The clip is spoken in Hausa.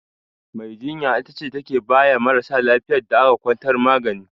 Mai jinya ita ce take baya marasa lafiyar da aka kwantar magani.